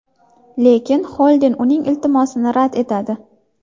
Lekin Xolden uning iltimosini rad etadi.